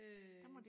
øh